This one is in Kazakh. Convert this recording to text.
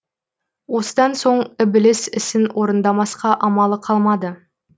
осыдан соң ібіліс ісін орындамасқа амалы қалмады